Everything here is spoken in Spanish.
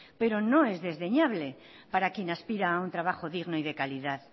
pero no es desdeñable para quien aspira a un trabajo digno y de calidad